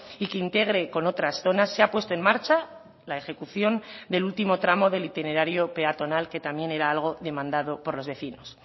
y que integre con otras zonas se ha puesto en marcha la ejecución del último tramo del itinerario peatonal que también era algo demandado por los vecinos